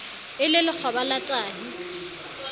e le lekgoba la tahi